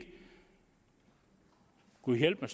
gud hjælpe